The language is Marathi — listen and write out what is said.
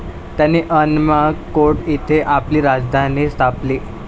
त्याने अनमकोंड येथे आपली राजधानी स्थापली.